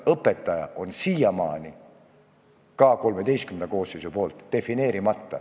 Õpetaja on siiamaani defineerimata, ka XIII koosseis ei ole seda teinud.